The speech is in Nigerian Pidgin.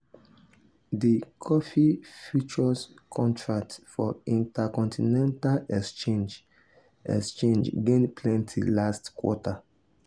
di coffee futures contract for intercontinental exchange exchange gain plenty last quarter.